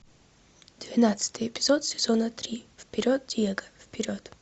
двенадцатый эпизод сезона три вперед диего вперед